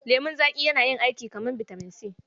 Lemon zaƙi yana yi aiki kamar bitamin C.